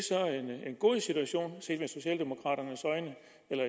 en god situation set med socialdemokraternes øjne